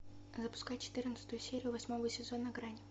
запускай четырнадцатую серию восьмого сезона грань